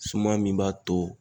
Suma min b'a to